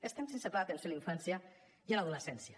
estem sense pla d’atenció a la infància i a l’adolescència